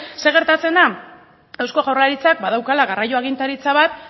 zer gertatzen da eusko jaurlaritzak badaukala garraio agintaritza bat